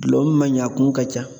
Gulɔ min ma ɲin , a kun ka ca.